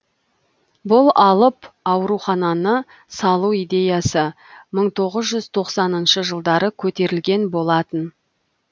бұл алып аурухананы салу идеясы мың тоғыз жүз тоқсаныншы жылдары көтерілген болатын